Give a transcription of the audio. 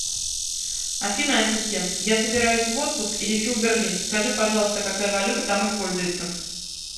афина ассистент я собираюсь в отпуск и лечу в берлин скажи пожалуйста какая валюта там используется